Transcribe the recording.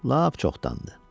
Lap çoxdandır.